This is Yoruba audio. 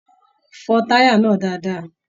Fọn taya náà dáadáa!